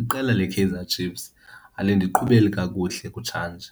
Iqela leKaizer Chiefs alindiqhubeli kakuhle kutshanje